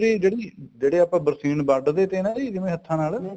ਜਿਹੜੀ ਆਪਾਂ ਬਰਸੀਂਨ ਵੱਡ ਦੇ ਤੇ ਨਾਲ ਹੱਥਾਂ ਨਾਲ